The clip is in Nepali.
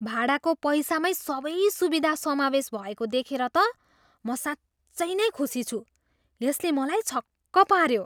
भाडाको पैसामै सबै सुविधा समावेश भएको देखेर त म साँच्चै नै खुसी छु। यसले मलाई छक्क पाऱ्यो!